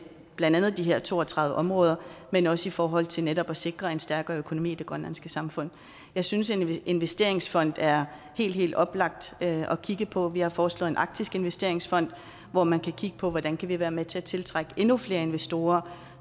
blandt andet de her to og tredive områder men også i forhold til netop at sikre en stærkere økonomi i det grønlandske samfund jeg synes en investeringsfond er helt helt oplagt at kigge på vi har foreslået en arktisk investeringsfond hvor man kan kigge på hvordan man kan være med til at tiltrække endnu flere investorer